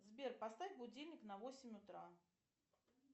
сбер поставь будильник на восемь утра